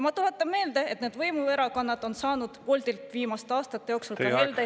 Ma tuletan meelde, et need võimuerakonnad on saanud Boltilt viimaste aastate jooksul heldelt annetusi.